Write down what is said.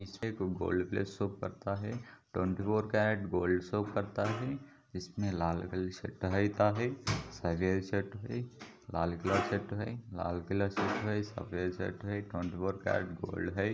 Gold plus show करता है twenty four carat gold show करता है इसमें लाल कलर होता है लाल किला सेट है। लाल किला से ट्रेन ट्वेंटीफोर कैरट गोल्ड है।